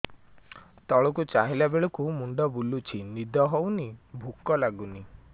ତଳକୁ ଚାହିଁଲା ବେଳକୁ ମୁଣ୍ଡ ବୁଲୁଚି ନିଦ ହଉନି ଭୁକ ଲାଗୁନି